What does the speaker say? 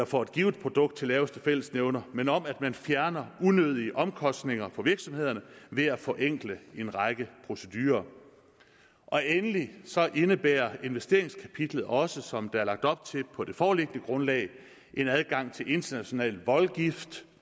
for et givet produkt til laveste fællesnævner men om at man fjerner unødige omkostninger for virksomhederne ved at forenkle en række procedurer endelig indebærer investeringskapitlet også som der er lagt op til på det foreliggende grundlag en adgang til international voldgift